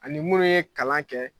Ani minnu ye kalan kɛ